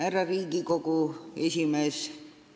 Härra Riigikogu esimees!